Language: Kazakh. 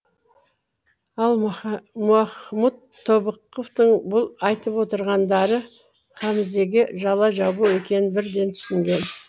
ал махмұт тобықовтың бұл айтып отырғандары хамзеге жала жабу екенін бірден түсінген